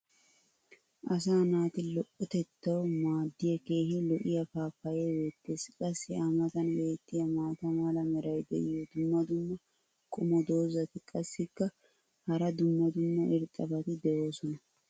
asaa naati lo"otettawu maadiya keehi lo'iya paappayee beetees. qassi a matan beetiya maata mala meray diyo dumma dumma qommo dozzati qassikka hara dumma dumma irxxabati doosona.